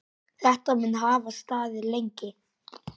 Þetta mun hafa staðið lengi.